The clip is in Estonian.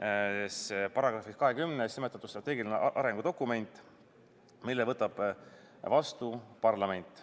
§-s 20 nimetatud strateegiline arengudokument, mille võtab vastu parlament.